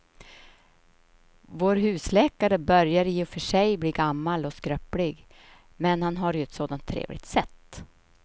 Vår husläkare börjar i och för sig bli gammal och skröplig, men han har ju ett sådant trevligt sätt!